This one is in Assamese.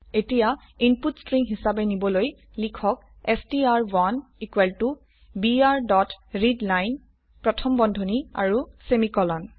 এতিয়া ইনপুটক স্ট্ৰিং হিসাবে নিবলৈ লিখক ষ্ট্ৰ1 equal to br dot readline প্ৰথম বন্ধনী আৰু সেমিকোলন